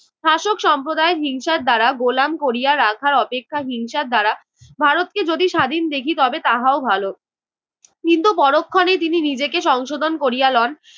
শাসক সম্প্রদায় হিংসার দ্বারা গোলাম করিয়া রাখার অপেক্ষা হিংসার দ্বারা ভারতকে যদি স্বাধীন দেখি তবে তাহাও ভালো, কিন্তু পরক্ষণেই তিনি নিজেকে সংশোধন করিয়া লন,